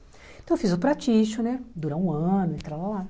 Então, eu fiz o practitioner, dura um ano, e tralálá